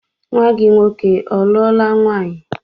Nnwa gị nwoke ọ lụọla nwaanyị?